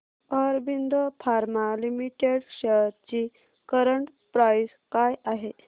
Aurobindo pharma limited shares ची current price काय आहे